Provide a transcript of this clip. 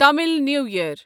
Tamil New ییر